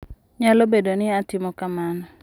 Nyalo bedo ni atimo kamano.